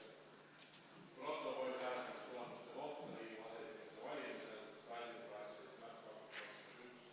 Protokoll hääletamistulemuste kohta Riigikogu aseesimeeste valimisel.